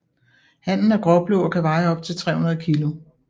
Hannen er gråblå og kan veje op til 300 kg